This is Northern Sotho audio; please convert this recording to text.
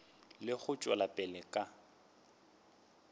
le go tšwela pele ka